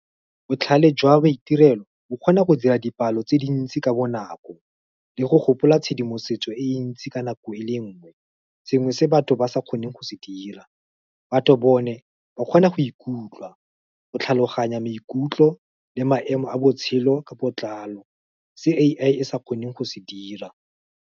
Botlhale jwa maitirelo o kgona go dira dipalo tse dintsi ka bonako, le go gopola tshedimosetso e ntsi ka nako e le nngwe. Sengwe se batho ba sa kgoneng go se dira, batho bone ba kgona go ikutlwa go tlhaloganya maikutlo le maemo a botshelo ka botlalo, se A_I e sa kgoneng go se dira.